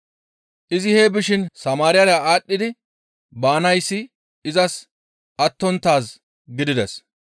Izi hee bishin Samaariyara aadhdhi baanayssi izas attonttaaz gidides.